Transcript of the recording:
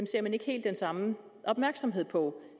ser man ikke helt den samme opmærksomhed på